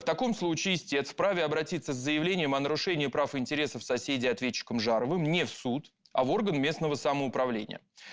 в таком случае истец вправе обратиться с заявлением о нарушении прав интересов соседей ответчиком жаровым не в суд а в орган местного самоуправления